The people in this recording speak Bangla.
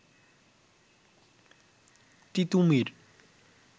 তিতুমীর